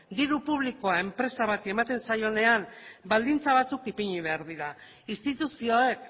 diru publikoa enpresa bati ematen zaionean baldintza batzuk ipini behar dira instituzioek